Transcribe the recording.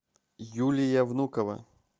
юлия внукова